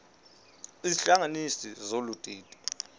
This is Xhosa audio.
izihlanganisi zolu didi